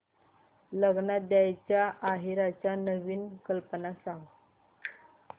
लग्नात द्यायला आहेराच्या नवीन कल्पना सांग